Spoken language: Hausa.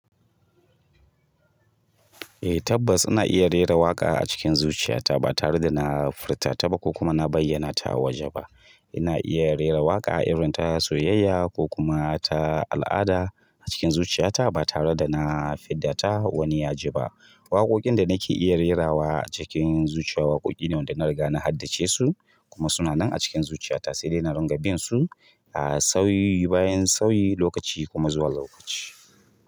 Eh tabbas ina iya rera waƙa a cikin zuciyata ba tare da na furta ta ba ko kuma na bayyana ta a waje ba. Ina iya rera waƙa irin ta soyayya ko kuma ta al'ada a cikin zuciyata ba tare da na fidda ta wani yaji ba. Waƙoƙin da nake iya rerawa a cikin zuciya waƙoƙi ne wanda na riga na haddace su kuma suna nan a cikin zuciyata sai dai na runga bin su a sauyi bayan sauyi lokaci kuma zuwa lokaci.